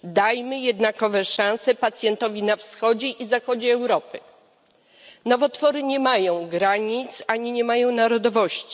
Dajmy jednakowe szanse pacjentowi na wschodzie i zachodzie Europy. Nowotwory nie mają granic ani nie mają narodowości.